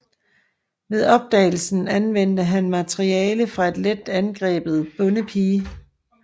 Ved opdagelsen anvendte han materiale fra en let angrebet bondepige